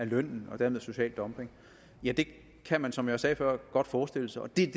lønnen og dermed social dumping ja det kan man som jeg sagde før godt forestille sig og det er